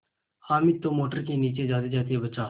हामिद तो मोटर के नीचे जातेजाते बचा